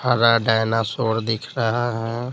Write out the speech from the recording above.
हरा डायनासोर दिख रहा है।